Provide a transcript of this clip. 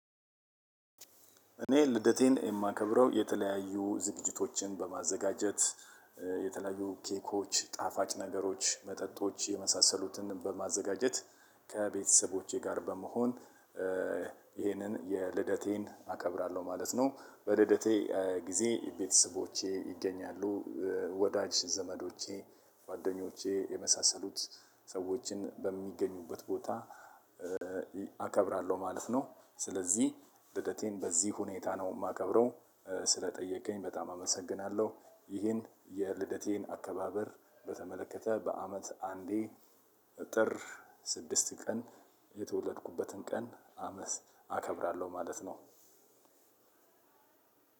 እኔ ልደቴን የማከብረው የተለያዩ ዝግጅቶችን በማዘጋጀት የተለያዩ ኬኮች ጣፋጭ ነገሮች መጠጦች የመሳሰሉትን በማዘጋጀት ከቤተሰቦቼ ጋር በመሆን። ይሄንን የልደቴን አከብራለሁ ማለት ነው። በልደቴ ጊዜ ቤተሰቦቼ ይገኛሉ። ወዳጅ ዘመዶቼ ጓደኞቼ የመሳሰሉት ሰዎችን በሚገኙበት ቦታ። አከብራለሁ ማለፍ ነው። ስለዚህ ልደቴን በዚህ ሁኔታ ነው የማከብረው። ስለጠየከኝ በጣም አመሰግናለሁ። ይሄን የልደቴን አከባበር በተመለከተ በአመት አንዴ ጥር ስድስት ቀን የተወለድኩበትን ቀን አመስ አከብራለሁ ማለት ነው።